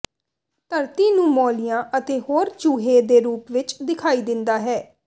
ਧਰਤੀ ਨੂੰ ਮੋਲਿਆਂ ਅਤੇ ਹੋਰ ਚੂਹੇ ਦੇ ਰੂਪ ਵਿੱਚ ਦਿਖਾਈ ਦਿੰਦਾ ਹੈ